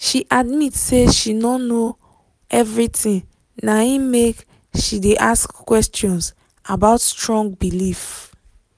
she admit say she no know everything na him make she de ask questions about strong belief